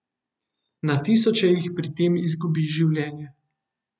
Na tisoče jih pri tem izgubi življenje.